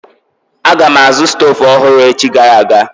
Aga m azụ stoovu ọhụrụ echi gara aga.